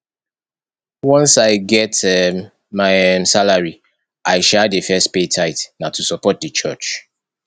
once i get um my um salary i um dey first pay tithe na to support di church